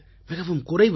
மிகவும் குறைவு தான்